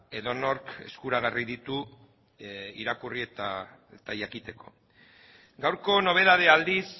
edonork eskuragarri ditu irakurri eta jakiteko gaurko nobedadea aldiz